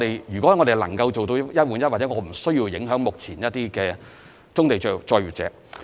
如果我們能夠做到"一換一"，其實便無需影響目前的棕地作業者。